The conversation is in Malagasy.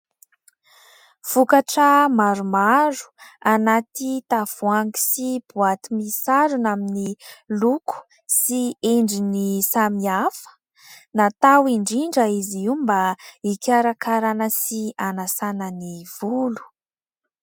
Vokatra maromaro: anaty tavoahangy sy boaty misarona miloko, sy endriny samy hafa; natao indrindra izy io mba hikarakarana sy hanasana ny volo.